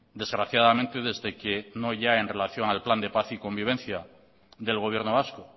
desgraciadamente desde que no ya en relación al plan de paz y conviden del gobierno vasco